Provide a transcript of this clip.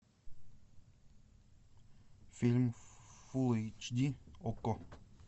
фильм фулл эйч ди окко